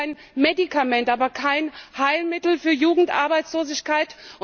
Sie ist ein Medikament, aber kein Heilmittel für Jugendarbeitslosigkeit.